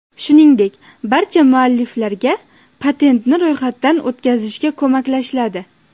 Shuningdek, barcha mualliflarga patentni ro‘yxatdan o‘tkazishga ko‘maklashiladi.